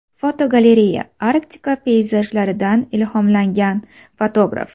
Fotogalereya: Arktika peyzajlaridan ilhomlangan fotograf.